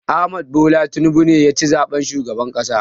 Ahmad Bola Tinubu ne ya ci zaɓen shugaban ƙasa.